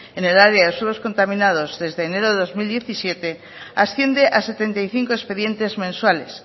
en el área de suelos contaminados desde enero de dos mil diecisiete asciende a setenta y cinco expedientes mensuales